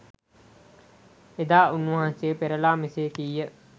එදා උන්වහන්සේ පෙරලා මෙසේ කිහ